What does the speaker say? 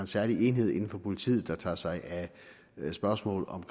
særlig enhed inden for politiet der tager sig af spørgsmålet om